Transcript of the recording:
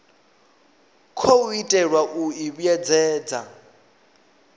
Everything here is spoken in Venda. khou itelwa u i vhuedzedza